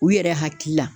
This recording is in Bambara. U yɛrɛ hakili la